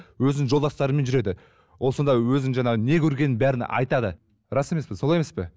өзінің жолдастарымен жүреді ол сонда өзінің жаңағы не көргенін бәрін айтады рас емес пе солай емес пе